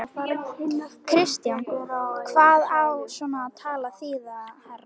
KRISTJÁN: Hvað á svona tal að þýða, herra